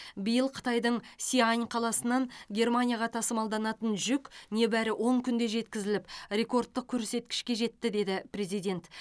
биыл қытайдың сиань қаласынан германияға тасымалданатын жүк небәрі он күнде жеткізіліп ректордтық көрсеткішке жетті деді президент